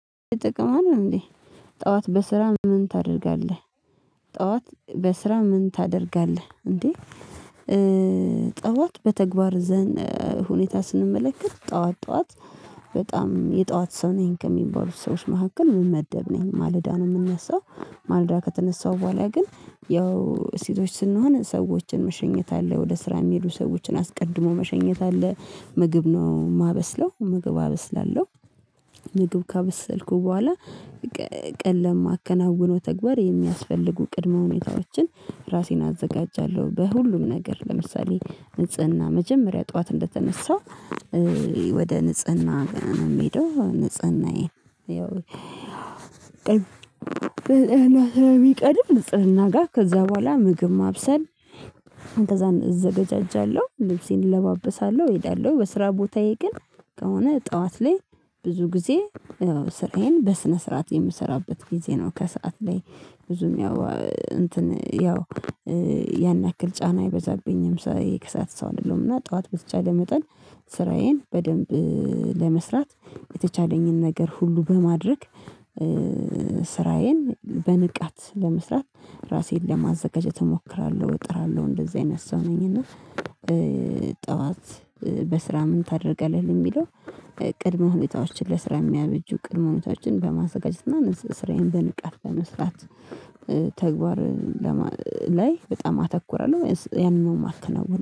ይጠቅማል እንዴ ጠዋት በስራ ምን ታደርጋለህ? ጠዋት በስራ ምን ታደርጋለህ እንዴ? ጠዋት በተግባር ዘንድ ሁኔታ ስንመለከት ጠዋት ጠዋት በጣም የጠዋት ሰው ነኝ ከሚባሉት ሰዎች መካከል ምመደብ ነኝ ማለዳ ነው የምነሳው። ማለዳ ከተነሳው በኋላ ግን ያው ሴቶች ስንሆን ሰዎችን መሸኘት አለ ወደ ስራ የሚሄዱ ሰዎችን አስቀድሞ መሸኘት አለ ምግብ ነው የማበስለው ምግብ አበስላለሁ። ምግብ ካበሰልኩ በኋላ ቀን ለማከናወነው ተግባር የሚያስፈልጉ ቅድመ ሁኔታዎችን ራሴን አዘጋጃለሁ። በሁሉም ነገር ለምሳሌ ንጽህና መጀመሪያ ጠዋት እንደተነሳ ወደ ንጽህና ንጽህናዬን ያው ንጽህና ስሚቀድም ጥርና ጋር ከዛ በኋላ ምግብ ማብሰል እንደዛ እዘጋጃጃለሁ ልብሴን እለባበሳለሁ እሄዳለሁ። በስራ ቦታዬ ግን ከሆነ ጠዋት ላይ ብዙ ጊዜ ስራዬን በስነ ስርዓት የምሰራበት ጊዜ ነው ከሰአት ላይ ብዙም ያው እንትን ያው ያን ያክል ጫና አይበዛብኝም። ስራየ የከሳት ሰው አይደለምና ጠዋት በተቻለ መጠን ስራዬን በደንብ ለመስራት የተቻለኝን ነገር ሁሉ በማድረግ ስራዬን በንቃት ለመስራት ራሴን ለማዘጋጀት እሞክራለሁ እጥራለሁ እንደዚህ አይነት ሰው ነኝና። ጠዋት በስራ ምን ታደርገልህ ለሚለው? ቅድመ ሁኔታዎችን ለስራ የሚያበጁ ቅድመ ሁኔታችን በማዘጋጀት ስራዬን በንቃት በመስራት ተግባር ላይ በጣም አተኩራለሁ ማለት ነው